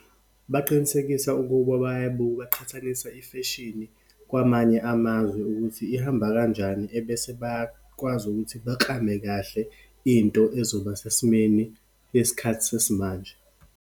Baqinisekisa ukuba bayayibuka, baqhathanisa ifeshini kwamanye amazwe, ukuthi ihamba kanjani, ebese bakwazi ukuthi baklame kahle into ezoba sesimeni yesikhathi sesimanje.